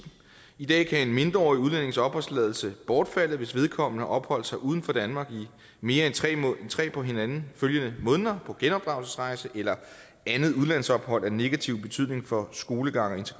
i dag kan en mindreårig udlændings opholdstilladelse bortfalde hvis vedkommende har opholdt sig uden for danmark i mere end tre på hinanden følgende måneder på genopdragelsesrejse eller andet udlandsophold af negativ betydning for skolegang og